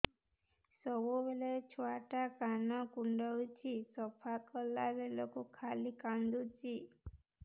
ସବୁବେଳେ ଛୁଆ ଟା କାନ କୁଣ୍ଡଉଚି ସଫା କଲା ବେଳକୁ ଖାଲି କାନ୍ଦୁଚି